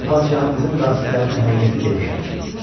Mən padşahımızın qasidlərini həqiqəti demişəm.